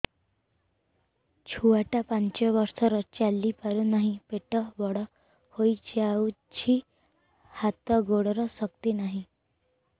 ଛୁଆଟା ପାଞ୍ଚ ବର୍ଷର ଚାଲି ପାରୁନାହଁ ପେଟ ବଡ ହୋଇ ଯାଉଛି ହାତ ଗୋଡ଼ର ଶକ୍ତି ନାହିଁ